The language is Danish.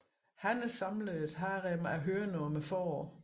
Hanner samler et harem af høner om foråret